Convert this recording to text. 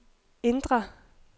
indre